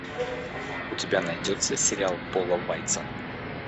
у тебя найдется сериал пола вайца